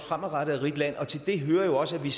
de